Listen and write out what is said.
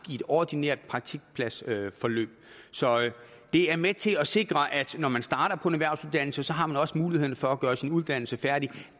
i et ordinært praktikpladsforløb så det er med til at sikre at når man starter på en erhvervsuddannelse har man også muligheden for at gøre sin uddannelse færdig